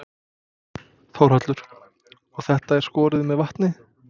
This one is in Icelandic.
Þórhallur: Og þetta er skorið með vatni?